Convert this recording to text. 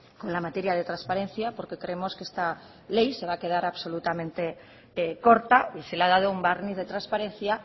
con la materia de transparencia porque creemos que está ley se va a quedar absolutamente corta y se le ha dado un barniz de transparencia